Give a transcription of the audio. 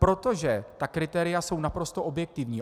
Protože ta kritéria jsou naprosto objektivní.